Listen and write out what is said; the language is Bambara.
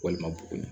Walima bugun